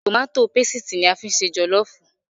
Tòmátó pesìtì ni a fi ń ṣe jọ̀lọ́ọ̀fù